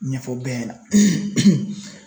Ɲɛfɔ bɛɛ ɲɛna